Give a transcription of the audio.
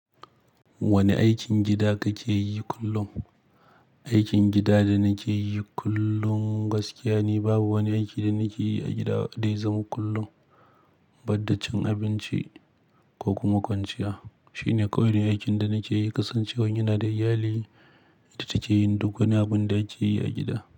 Wane aikin gida kake yi kullum? Aikin gida da nake yi kullum gaskiya ni babu wani aiki da nake yi a gida dai zama kullum. Banda cin abinci ko kuma kwanciya. Shine kawai ne aikin da nake yi. Kasancewan yana da iyali, ita take yin duk wani abin da ake yi a gida.